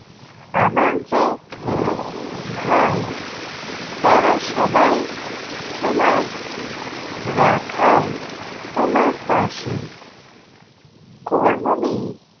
আমার যে ভাই তারা সবাই তোমার রাখাল তোমার চাষি কর্মবীর